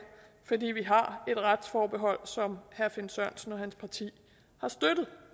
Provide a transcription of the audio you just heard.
fordi vi har et retsforbehold som herre finn sørensen og hans parti har støttet